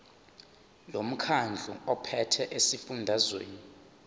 lomkhandlu ophethe esifundazweni